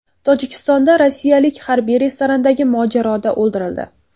Tojikistonda rossiyalik harbiy restorandagi mojaroda o‘ldirildi.